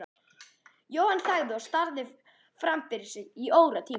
Jóhann þagði og starði fram fyrir sig í óratíma.